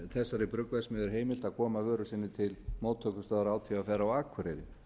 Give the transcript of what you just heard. þessari bruggverksmiðju er heimilt að koma vöru sinni til móttökustöðvar átvr á akureyri